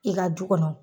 I ka du kɔnɔ